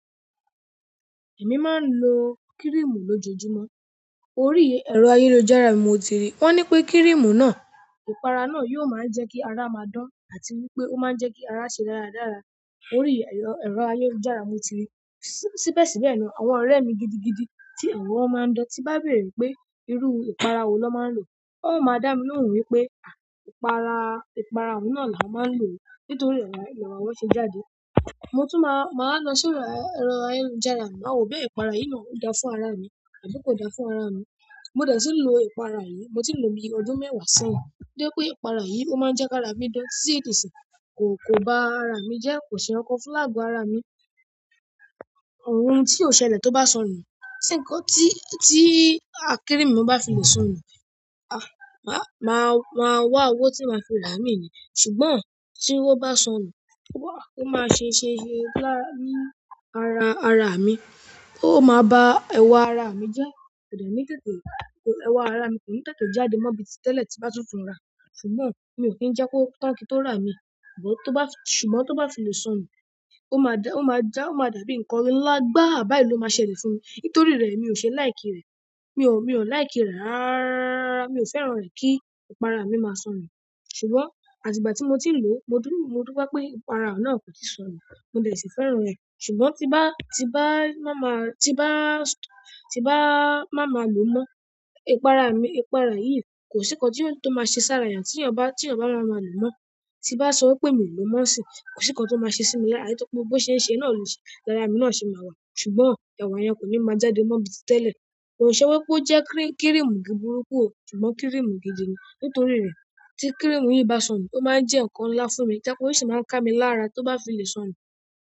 Èmi máa ń lo cream lojoojumo. Orí ẹ̀rọ ayélujára mo ti rí. Wọ́n ní pé kírìmù náà, ìpara náà yóò máa ń jẹ́ kí ara máa dan àti wípé ó máa ń jẹ́ kí ara ṣe rárádára. Orí ẹ̀rọ ayélujára mo ti rí. Síbẹ̀ sìbẹ́ na àwọn ọ̀rẹ́ mi gidigidi tí ẹ̀wọ̀n máa ń dan tí bá bèrè pé irú ìpara wo lọ́ máa ń lò. Ó máa dá mi lóhùn wípé ìpara, ìpara oun náà là wọ́n máa ń lò nítorí ẹ̀ là wọn ṣe jáde. Mo tún máa, máa lọ sórí ẹ̀rọ ayélujára. Màá wò pé ìpara yìí náà ó dáa fún ara mi àbí kò dáa fún ara mi. Mo dẹ̀ tí ń lo ìpara yìí, mo ti lò ní ọdún mẹ́wàá sẹ́yìn. Jẹ́ pé ìpara yìí ó máa ń jẹ́ kí ara mí dan, tí ti disìn kò, kò bá ara mi jẹ́, kò ṣe ǹkan fún láàgọ ara mi. Ohun tí ó ṣẹlẹ̀ tó bá sọnù, ti nǹkan tí, tí a kírìmù bá fi lè sọnù, a, máa, máa wá owó tí máa fi rà á imì ní. Ṣùgbọ́n tí wọ́n bá sọnù, ó máa ṣe ń ṣe ń ṣe lára mi ara, ara mi. Ó máa ba ẹwà ara mi jẹ́. Kò dẹ̀ ní tètè, ẹwà ara mi kò ní tètè jáde mọ́ bi tí tẹ́lẹ̀ tí bá tutù ń rà. Ṣùgbọ́n mi ò kí ń jẹ́ kó tán kín tó rà mi. Ṣùgbọ́n tó bá, ṣùgbọ́n tó bá fi lè sọnu, ó máa dà, ó máa dàbí ǹkan ńlá gbá, báyìí ló máa ṣẹlẹ̀ fún mi. Nítorí rẹ̀ mi ò ṣe láì kí rẹ̀. Mi ò, mi ò láì kí rẹ̀. Rárá rárá rárá, mi ò fẹ́ràn rẹ̀ kí ìpara mi máa sọnù. Ṣùgbọ́n àti ìgbà ti mó tí ń lo, mo dupẹ pé ipara oun nà kòsi sọnu, mo dẹ si fẹ́ràn rẹ. Ṣùgbọ́n tí bá, tí bá máa máa, tí bá, tí bá máa máa lò mọ́, ìpara mi, ìpara yìí kò sí ǹkan tí ó, tó máa ṣe sára èèyàn tí èyán ba, tí èyàn ba máa máa lò mọ́. Ti bá sọ wípé mi ò lò mọ́ ṣì, kò sí ǹkan tó máa ṣe sí mi lára. Nítorí pé bo ṣe ń ṣe náà lò ṣe, lára mi náà ṣe máa wà. Ṣùgbọ́n ẹ̀wà yẹn kò ní máa jáde mọ́ bi ti tẹ́lẹ̀. Kò ṣe wípé ó jẹ́ kírìmù burúkú o. Ṣùgbọ́n kírìmù gidi ni. Nítorí rẹ̀ tí kírìmù yìí bá sọnù, ó máa ń jẹ́ ǹkan ńlá fún mi. Tó jẹ pe o sì máa ń ká mi lára tí ó bá fi lè sọnù.